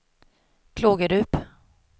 Klågerup